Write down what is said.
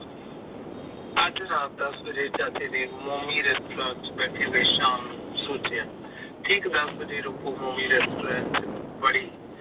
ਅੱਜ ਰਾਤ ਚਾਚੇ ਨੇ ਮੋਮੀ restaurant ਵਿੱਚ ਸ਼ਾਮ ਨੂੰ ਸੋਚਿਆ ਠੀਕ ਰਾਤੀ ਮੋਮੀ restaurant ਚ ਵਾੜੀ